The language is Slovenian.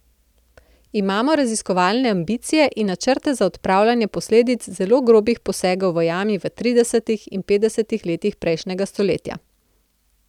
Imamo raziskovalne ambicije in načrte za odpravljanje posledic zelo grobih posegov v jami v tridesetih in petdesetih letih prejšnjega stoletja.